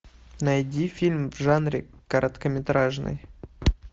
найди фильм в жанре короткометражный